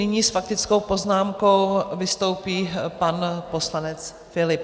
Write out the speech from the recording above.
Nyní s faktickou poznámkou vystoupí pan poslanec Philipp.